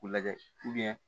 K'u lajɛ